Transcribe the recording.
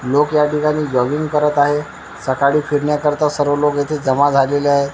लोकं या ठिकाणी जॉगिंग करत आहे सकाळी फिरण्याकरिता सर्व लोकं येथे जमा झालेले आहे.